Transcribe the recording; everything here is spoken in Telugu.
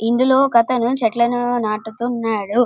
ఇందులో ఒకతను చెట్లను నాటుతున్నాడు.